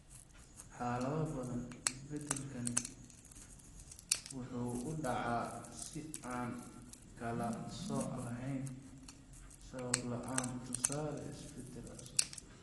Xaalado badan, isbeddelkaani wuxuu u dhacaa si aan kala sooc lahayn, sabab la'aan (tusaale, isbeddel cusub).